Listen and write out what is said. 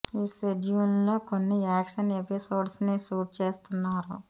ఈ షెడ్యూల్ లో కొన్ని యాక్షన్ ఎపిసోడ్స్ ని షూట్ చేస్తున్నారు